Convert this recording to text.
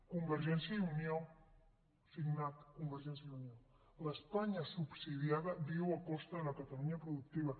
convergència i unió signat convergència i unió l’espanya subsidiada viu a costa de la catalunya productiva